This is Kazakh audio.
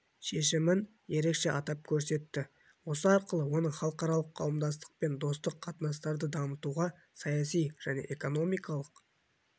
шешімін ерекше атап көрсетті осы арқылы оның халықаралық қоғамдастықпен достық қатынастарды дамытуға саяси және экономикалық